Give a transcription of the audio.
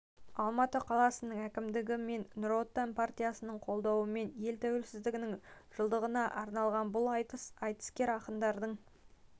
алматы қаласының әкімдігі мен нұр отан партиясының қолдауымен ел тәуелсіздігінің жылдығына арналған бұл айтыс айтыскер ақындардың